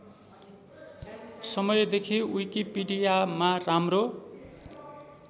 समयदेखि विकिपिडियामा राम्रो